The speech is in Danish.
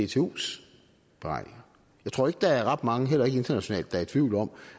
dtus beregninger jeg tror ikke der er ret mange heller ikke internationalt der er i tvivl om